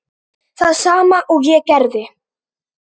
Það sama og ég gerði.